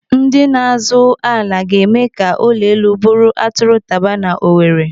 Ndị na-azụ ala ga-eme ka ụlọ elu bụrụ atụrụ taba n'Owere.